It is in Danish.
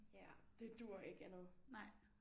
Ja det duer ikke andet